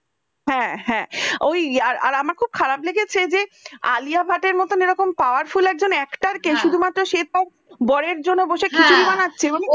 হ্যাঁ হ্যাঁ ওই আর আমার খুব খারাপ লেগেছে যে আলিয়া ভাট মতন এরকম powerful একজন actor কে শুধুমাত্র সে তার হ্যাঁ বরের জন্য বসে খিচুড়ি বানাচ্ছে মানে